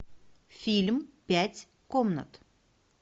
фильм пять комнат